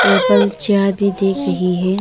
Table chair भी दिख रही है।